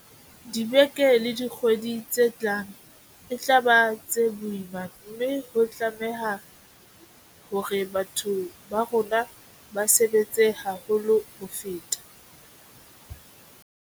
Dibeke le dikgwedi tse tlang e tla ba tse boima mme ho tla batleha hore batho ba bo rona ba sebetse haholo ho feta.